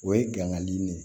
O ye gangani de ye